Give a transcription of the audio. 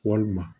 Walima